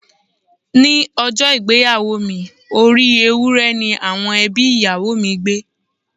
Ní ọjọ́ ìgbéyàwó mi, orí Ewúré ni àwọn ẹbí ìyàwó mi gbẹ́.